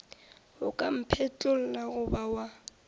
o ka mphetlolla goba wa